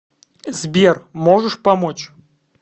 сбер можешь помочь